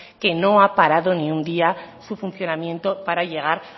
que no ha parado ni un día su funcionamiento para llegar